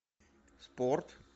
спорт